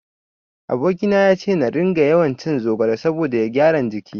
Aboki na yace na ringa yawancin zogale saboda ya gyara jiki.